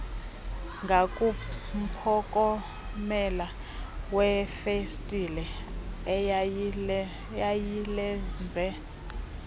ngakumphokomela wefestile eyayilenze